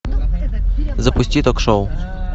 запусти ток шоу